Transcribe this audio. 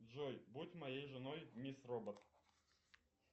джой будь моей женой мисс робот